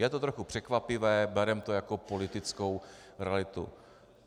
Je to trochu překvapivé, bereme to jako politickou realitu.